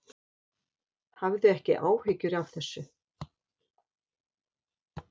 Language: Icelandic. Hafðu ekki áhyggjur af þessu.